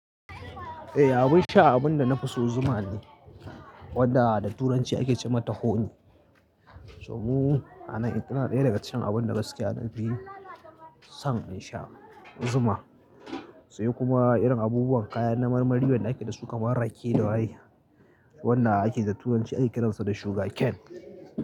Eh, abyn sha abun da na fi so zuma ne, wanda da turanci ake ce mata Honey. So mu a nan ita tana ɗaya daga cikin abun da gaskiya na fi son in sha zuma. Sai kuma irin abubuwan kayan na marmari wanda ake da su kamar rake da waye wanda ake da turanci ake kiransa da Sugar cane.